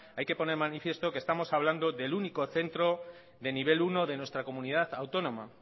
hay que poner de manifiesto que estamos hablando del único centro de nivel uno de nuestra comunidad autónoma